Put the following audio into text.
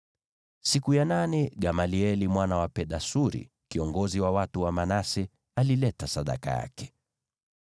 Siku ya nane Gamalieli mwana wa Pedasuri, kiongozi wa watu wa Manase, alileta sadaka yake.